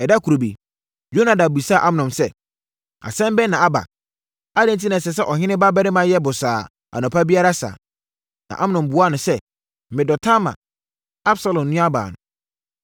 Ɛda koro bi, Yonadab bisaa Amnon sɛ, “Asɛm bɛn na aba? Adɛn enti na ɛsɛ sɛ ɔhene babarima yɛ bosaa anɔpa biara saa?” Na Amnon buaa no sɛ, “Medɔ Tamar, Absalom nuabaa no.”